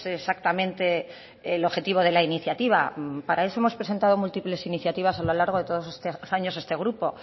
exactamente el objetivo de la iniciativa para eso hemos presentado múltiples iniciativas a lo largo de todos estos años este grupo